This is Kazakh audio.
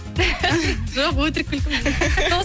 жоқ өтірік күлкім